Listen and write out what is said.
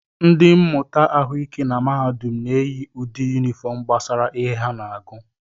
Ndị mmụta ahụike na mahadum na-eyi ụdị yunifọm gbasara ihe ha na-agụ